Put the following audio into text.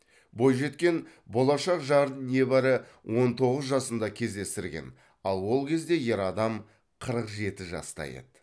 бойжеткен болашақ жарын небәрі он тоғыз жасында кездестірген ал ол кезде ер адам қырық жеті жаста еді